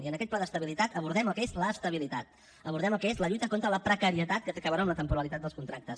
i en aquest pla d’estabilitat abordem el que és l’estabilitat abordem el que és la lluita contra la precarietat que té a veure amb la temporalitat dels contractes